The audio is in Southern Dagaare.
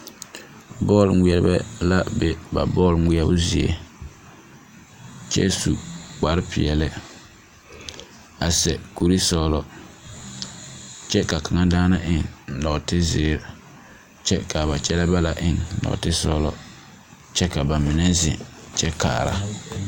Bͻl ŋmeԑrebԑ la be ba bͻl ŋmeԑbo zie, kyԑ su kpare peԑle a seԑ kuri sͻgelͻ kyԑ ka kaŋa daana eŋ nͻͻte zeere kyԑ ka a ba kyԑlԑԑ banaŋ eŋ nͻͻte sͻgelͻ kyԑ ka ba mine zeŋ kyԑ kaara.